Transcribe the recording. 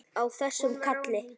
Á þessum karli!